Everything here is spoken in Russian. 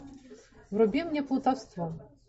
вруби мне плутовство